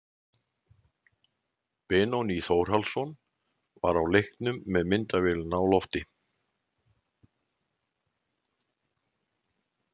Benóný Þórhallsson var á leiknum með myndavélina á lofti.